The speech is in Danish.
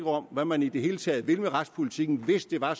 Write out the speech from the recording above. om hvad man i det hele taget vil med retspolitikken hvis det var